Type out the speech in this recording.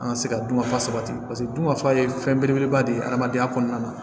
An ka se ka dun ka fa sabati dun ka fa ye fɛn belebeleba de ye adamadenya kɔnɔna na